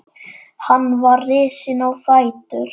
Hann var risinn á fætur.